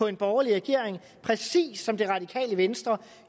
en borgerlig regering præcis som det radikale venstre